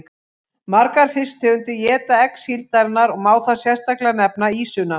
Margar fisktegundir éta egg síldarinnar og má þar sérstaklega nefna ýsuna.